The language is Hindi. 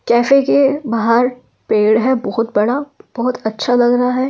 जैसे कि बाहर पेड़ है बहुत बड़ा बहुत अच्छा लग रहा है।